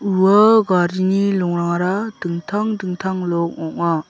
ua garini longrangara dingtang dingtang long ong·a.